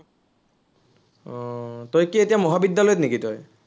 আহ তই কি এতিয়া মহাবিদ্য়ালয়ত নেকি তই?